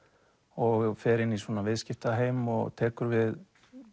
og fer inn í svona viðskiptaheim og tekur við